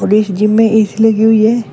इस जिम में ऐ_सी लगी हुई है।